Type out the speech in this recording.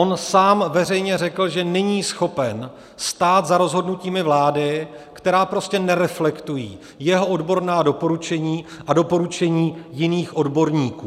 On sám veřejně řekl, že není schopen stát za rozhodnutími vlády, která prostě nereflektují jeho odborná doporučení a doporučení jiných odborníků.